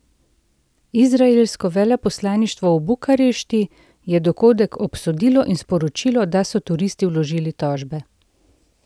Izraelsko veleposlaništvo v Bukarešti je dogodek obsodilo in sporočilo, da so turisti vložili tožbe.